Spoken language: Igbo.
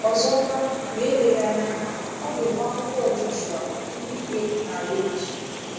Ọzọkwa, ma eleghị anya ọ ga-enwe akwụkwọ Joshua, Ndị Ikpe, na Rut.